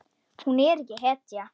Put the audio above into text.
Hún er ekki hetja.